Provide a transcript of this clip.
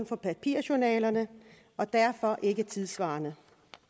for papirjournalerne og derfor ikke er tidssvarende